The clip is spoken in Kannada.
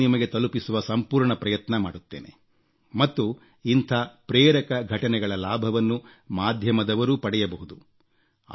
ಅವನ್ನು ನಿಮಗೆ ತಲುಪಿಸುವ ಸಂಪೂರ್ಣ ಪ್ರಯತ್ನ ಮಾಡುತ್ತೇನೆ ಮತ್ತು ಇಂಥ ಪ್ರೇರಕ ಘಟನೆಗಳ ಲಾಭವನ್ನು ಮಾಧ್ಯಮದವರೂ ಪಡೆಯಬಹುದು